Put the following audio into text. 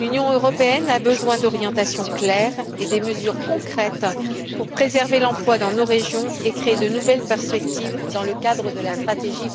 L'Union européenne a besoin d'orientations claires et de mesures concrètes pour préserver l'emploi dans nos régions et créer de nouvelles perspectives dans le cadre de la stratégie